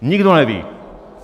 Nikdo neví!